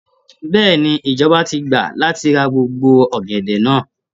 Bẹ́ẹ̀ni, ìjọba ti gbà láti ra gbogbo ọ̀gẹ̀dẹ̀ náà.